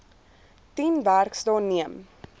tien werksdae neem